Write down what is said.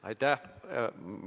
Aitäh!